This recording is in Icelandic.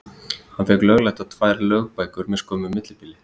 Hann fékk lögleiddar tvær lögbækur með skömmu millibili.